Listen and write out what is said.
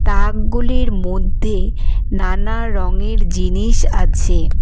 তাকগুলির মধ্যে নানা রঙের জিনিস আছে।